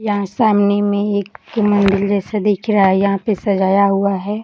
यह सामने में एक मंदिर जैसा दिख रहा है यहाँ पे सजाया हुआ है।